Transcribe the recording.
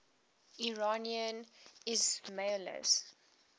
iranian ismailis